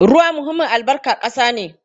Ruwa muhimmin albarkan ƙasa ne.